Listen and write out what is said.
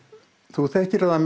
þú þekkir það